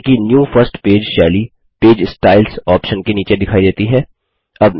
ध्यान दें कि न्यू फर्स्ट पेज शैली पेज स्टाइल्स ऑप्शन के नीचे दिखाई देती है